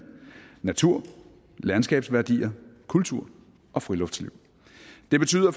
natur landskabsværdier kultur og friluftsliv det betyder